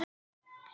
Vera lið.